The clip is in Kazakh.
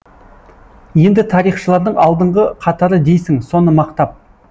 енді тарихшылардың алдыңғы қатары дейсің соны мақтап